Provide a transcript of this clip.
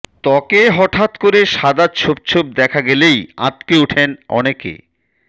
ত্বকে হঠাৎ করে সাদা ছোপ ছোপ দেখা গেলেই আঁতকে ওঠেন অনেকে